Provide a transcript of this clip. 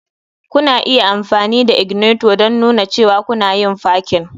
Kuna iya amfani da ignitor don nuna cewa kuna yin parking.